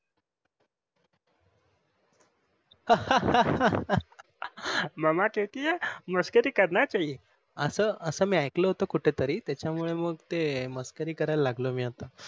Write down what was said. Mama केहतिये मस्करी करणा चाहिये अस अस मी आयकल होते कुठे तरी त्याच्या मुळे मग ते मस्करी करायला लागलो मी ते आता.